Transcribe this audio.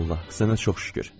Allah, sənə çox şükür.